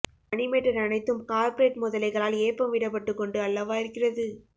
மணி matter அனைத்தும் corporate முதலைகளாள் ஏப்பம் விட பட்டு கொண்டு அல்லவா இருகிறது